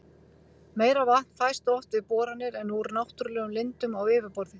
Meira vatn fæst oft við boranir en úr náttúrlegum lindum á yfirborði.